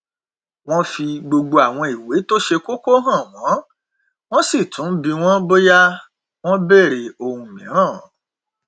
wọn fi gbogbo àwọn ìwé tó ṣe kóko hàn wọn sì tún bi wọn bóyá wọn bèrè ohun mìíràn